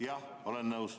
Jah, olen nõus.